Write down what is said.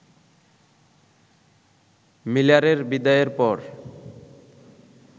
মিলারের বিদায়ের পর